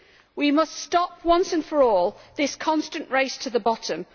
We must stop, once and for all, this constant race to the bottom